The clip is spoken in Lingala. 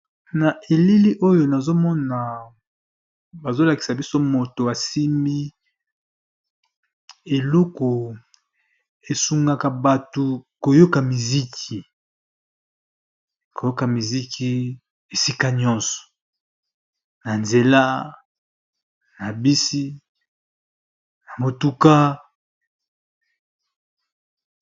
Na elili oyo nazomona bazolakisa mutu asimbi eloko oyo esalisaka biso koyoka musica